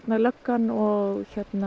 löggan og